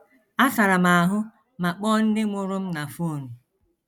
Asara m ahụ ma kpọọ ndị mụrụ m na fon. ”